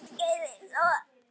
Og reiður Guði sínum.